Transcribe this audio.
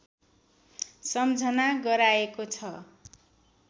सम्झना गराएको छ